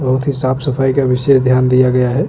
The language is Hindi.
बहुत ही साफ सफाई का विशेष ध्यान दिया गया है।